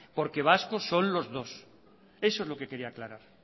porque vascos son los dos eso es lo que quería aclarar